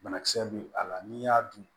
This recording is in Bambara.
Banakisɛ bɛ a la n'i y'a dun